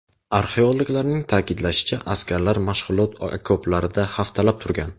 Arxeologlarning ta’kidlashicha, askarlar mashg‘ulot okoplarida haftalab turgan.